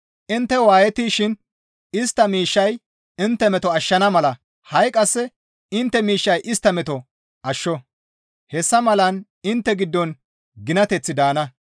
Intte waayettishin istta miishshay intte meto ashshana mala ha7i qasse intte miishshay istta meto ashsho; hessa malan intte giddon ginateththi daana.